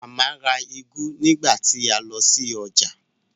Màmá ra úgú nígbà tí a lọ sí ọjà